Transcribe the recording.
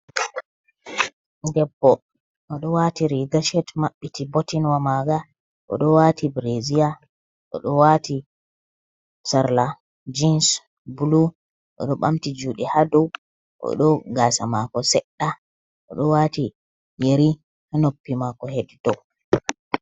Debbo o ɗo wati riga shet mabbiti botinwamaga, o ɗo wati bereziya o do wati sarla jins bulu o do ɓamti juɗe hadow oɗo gasa mako sedda, oɗo wati yeri hanoppi mako heɗito.